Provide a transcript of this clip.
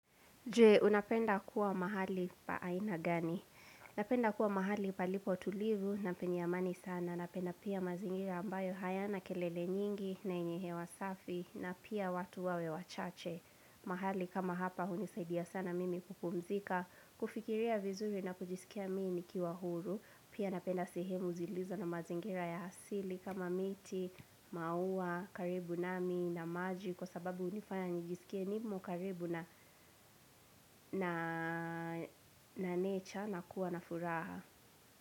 Je, unapenda kuwa mahali pa aina gani? Napenda kuwa mahali palipo tulivu, na penye amani sana, napenda pia mazingira ambayo hayana kelele nyingi, na yenye hewa safi, na pia watu wawe wachache. Mahali kama hapa hunisaidia sana mimi kupumuzika, kufikiria vizuri na kujisikia mimi nikiwa huru. Pia napenda sehemu zilizo na mazingira ya asili kama miti, maua, karibu nami na maji Kwa sababu hunifanya nijisikie nimo karibu na nature na kuwa na furaha.